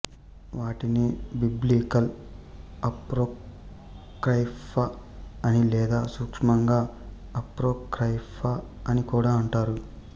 వాటిని biblical apocrypha అని లేదా సూక్ష్మంగా అపోక్రైఫా అని కూడా అంటారు